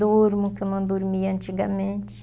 Durmo, o qu eu não dormia antigamente.